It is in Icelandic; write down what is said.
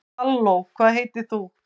halló hvað heitir þú